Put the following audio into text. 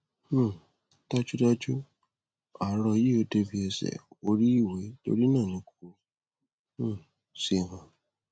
um dájúdájú aró yìí ò débi ẹṣẹ oríiwe torí náà ni kò um ṣe hàn